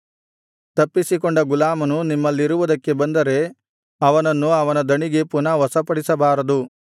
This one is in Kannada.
ತಪ್ಪಿಸಿಕೊಂಡ ಗುಲಾಮನು ನಿಮ್ಮಲ್ಲಿರುವುದಕ್ಕೆ ಬಂದರೆ ಅವನನ್ನು ಅವನ ದಣಿಗೆ ಪುನಃ ವಶಪಡಿಸಬಾರದು